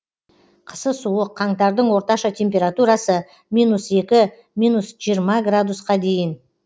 қысы суық қаңтардың орташа температурасы минус екі минус жиырма градусқа дейін